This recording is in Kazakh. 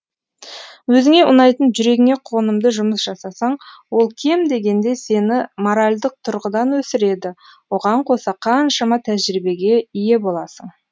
өзіңе ұнайтын жүрегіңе қонымды жұмыс жасасаң ол кем дегенде сені моральдық тұрғыдан өсіреді оған қоса қаншама тәжірибеге ие боласың